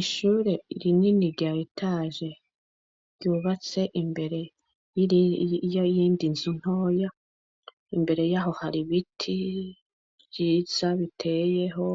Ishure ri nini ryayitaje ryubatse imbere 'iiyo yindi nzu ntoya imbere y'aho hari ibiti ryiza biteyeho